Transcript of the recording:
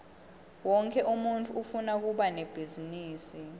wonkhe umuntfu ufuna kuba nebhizinisi